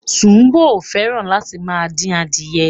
Ṣùbòmí ò fẹ́ràn láti máa dín adìẹ.